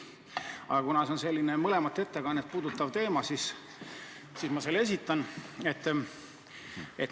Aga kuna see teema puudutab mõlemat ettekannet, siis ma selle ikkagi esitan.